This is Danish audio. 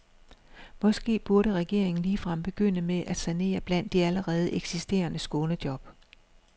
Måske burde regeringen ligefrem begynde med at sanere blandt de allerede eksisterende skånejob.